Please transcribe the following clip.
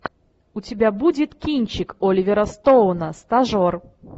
у тебя будет кинчик оливера стоуна стажер